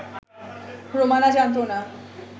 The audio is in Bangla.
রোমানা জানতো না